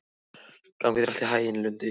Gangi þér allt í haginn, Lundi.